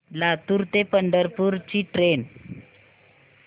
लातूर ते पंढरपूर ची ट्रेन